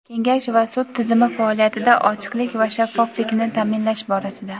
Kengash va sud tizimi faoliyatida ochiqlik va shaffoflikni ta’minlash borasida:.